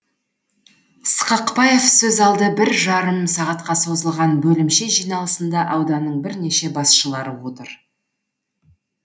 сықақбаев сөз алды бір жарым сағатқа созылған бөлімше жиналысында ауданның бірнеше басшылары отыр